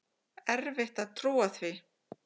Erfitt að trúa því.